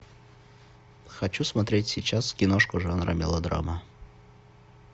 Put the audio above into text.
хочу смотреть сейчас киношку жанра мелодрама